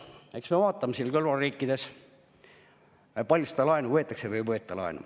Eks me vaatame ka, kui palju kõrvalriikides laenu võetakse või ei võeta laenu.